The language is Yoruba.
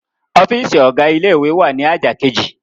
Ọ́fíísì ọ̀gá ilé-ìwé wà ní àjà kejì.